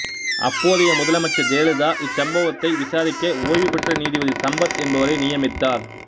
அப்போதைய முதலமைச்சர் ஜெயலலிதா இச்சம்பவத்தை விசாரிக்க ஓய்வுபெற்ற நீதிபதி சம்பத் என்பவரை நியமித்தார்